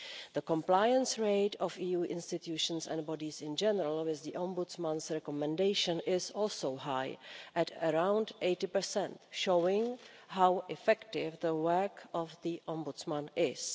The compliance rate of EU institutions and bodies in general with the Ombudsman's recommendation is also high, at around 80, showing how effective the work of the Ombudsman is.